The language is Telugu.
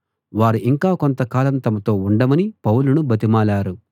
వారు ఇంక కొంతకాలం తమతో ఉండమని పౌలును బతిమాలారు